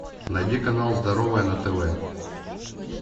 найди канал здоровое на тв